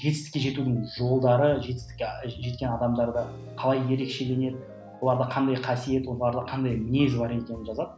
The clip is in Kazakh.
жетістікке жетудің жолдары жетістікке жеткен адамдарда қалай ерекшеленеді оларда қандай қасиет оларда қандай мінез бар екенін жазады